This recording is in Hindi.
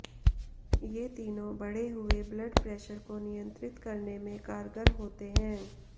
ये तीनों बढ़े हुए ब्लड प्रेशर को नियंत्रित करने में कारगर होते हैं